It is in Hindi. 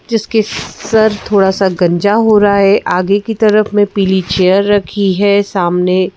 जिसके सर थोड़ा सा गंजा हो रहा है आगे की तरफ में पीली चेयर रखी है सामने--